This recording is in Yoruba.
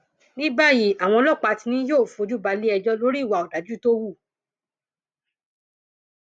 ní báyìí àwọn ọlọpàá ti ní yóò fojú balẹẹjọ lórí ìwà ọdájú tó hù